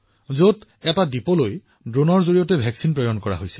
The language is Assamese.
যত প্ৰতিষেধক ড্ৰোনৰ জৰিয়তে এটা দ্বীপলৈ পৰিবহণ কৰা হৈছিল